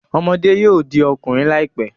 Ọmọde yoo di ọkunrin laipe